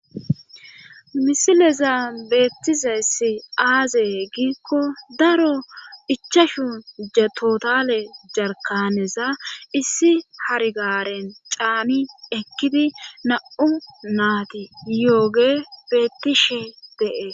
Misileza beettizessi aazee giikko daro ichashu totale jarkaneza issi hargaren caami ekkidi na'u naati yooge bettishe de'e